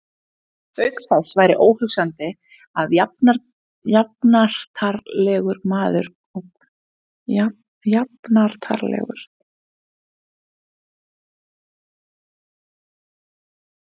Auk þess væri óhugsandi að jafnartarlegur maður og Guðni stæði í slíku.